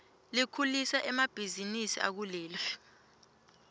likhulisa emabihzinisi akuleli